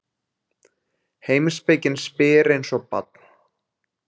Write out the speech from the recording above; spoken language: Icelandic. Heimspekin spyr eins og barn.